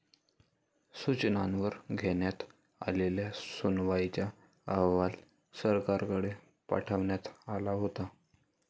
सूचनांवर घेण्यात आलेल्या सुनावणीचा अहवाल सरकारकडे पाठवण्यात आला होता.